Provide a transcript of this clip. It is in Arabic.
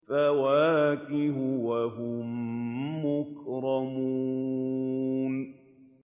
فَوَاكِهُ ۖ وَهُم مُّكْرَمُونَ